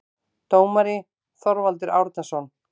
Dómari: Þorvaldur Árnason